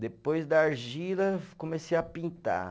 Depois da argila, comecei a pintar.